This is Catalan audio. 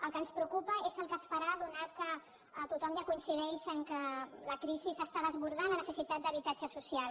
el que ens preocupa és el que es farà ja que tothom ja coincideix que la crisi està desbordant la necessitat d’habitatge social